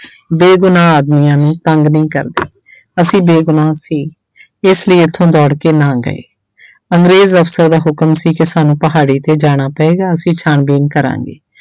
ਬੇਗੁਨਾਹ ਆਦਮੀਆਂ ਨੂੰ ਤੰਗ ਨਹੀਂ ਕਰਦੀ ਅਸੀਂ ਬੇਗੁਨਾਹ ਸੀ ਇਸ ਲਈ ਇੱਥੋਂ ਦੌੜ ਕੇ ਨਾ ਗਏ ਅੰਗਰੇਜ਼ ਅਫ਼ਸਰ ਦਾ ਹੁਕਮ ਸੀ ਕਿ ਸਾਨੂੰ ਪਹਾੜੀ ਤੇ ਜਾਣਾ ਪਏਗਾ ਅਸੀ ਛਾਣਬੀਣ ਕਰਾਂਗੇ।